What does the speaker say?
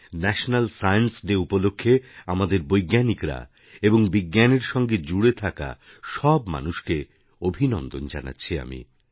national science day উপলক্ষে আমাদের বৈজ্ঞানিকরা এবং বিজ্ঞানেরসঙ্গে জুড়ে থাকা সব মানুষকে অভিনন্দন জানাচ্ছি আমি